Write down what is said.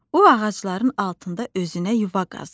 O ağacların altında özünə yuva qazır.